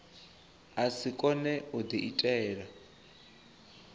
a si kone u diitela